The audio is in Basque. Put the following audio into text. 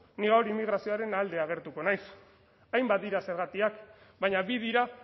ni gaur immigrazioaren alde agertuko naiz hainbat dira zergatiak baina bi dira